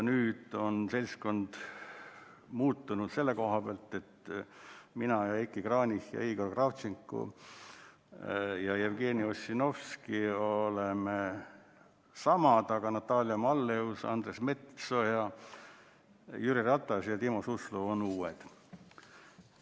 Nüüd on seltskond muutunud selle koha pealt, et mina, Heiki Kranich, Igor Kravtšenko ja Jevgeni Ossinovski oleme samad, aga Natalia Malleus, Andres Metsoja, Jüri Ratas ja Timo Suslov on uued.